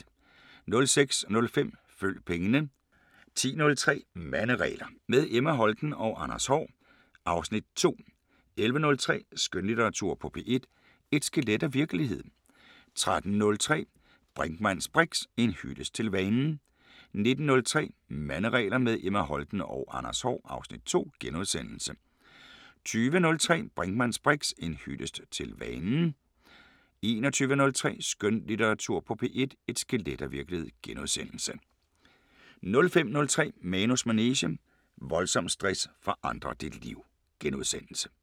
06:05: Følg pengene 10:03: Manderegler – med Emma Holten og Anders Haahr (Afs. 2) 11:03: Skønlitteratur på P1: Et skelet af virkelighed 13:03: Brinkmanns briks: En hyldest til vanen 19:03: Manderegler – med Emma Holten og Anders Haahr (Afs. 2)* 20:03: Brinkmanns briks: En hyldest til vanen 21:03: Skønlitteratur på P1: Et skelet af virkelighed * 05:03: Manus manege: Voldsom stress forandrer dit liv *